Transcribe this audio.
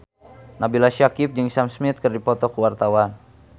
Nabila Syakieb jeung Sam Smith keur dipoto ku wartawan